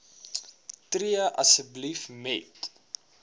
tree asseblief met